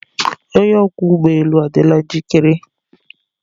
Onye ọkwọ ụgbọ elu adịla njikere.